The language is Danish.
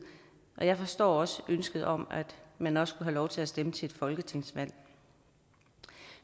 og jeg forstår også ønsket om at man også have lov til at stemme til et folketingsvalg